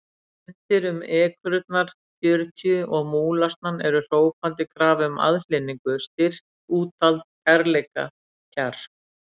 Efndir um ekrurnar fjörutíu og múlasnann eru hrópandi krafa um aðhlynningu, styrk, úthald, kærleika, kjark.